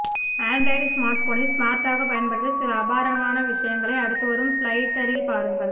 Android smart போனை ஸ்மார்ட்டாக பயன்படுத்த சில அபாரமான விஷயங்களை அடுத்து வரும் ஸ்லைடரில் பாருங்க